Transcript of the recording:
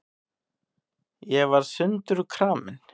Ég var sundurkramin.